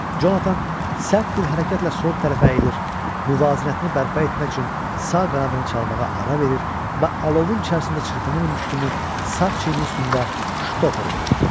Jonathan sərt bir hərəkətlə sol tərəfə əyilir, müvazinətini bərpa etmək üçün sağ qanadını çalmağa ara verir və alovun içərisində çırpınırmış kimi sağ çiyninin üstündə ştoper vururdu.